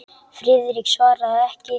Friðrik svaraði ekki.